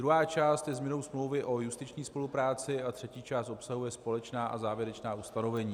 Druhá část je změnou smlouvy o justiční spolupráci a třetí část obsahuje společná a závěrečná ustanovení.